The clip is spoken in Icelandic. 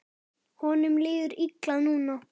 Honum líður illa núna.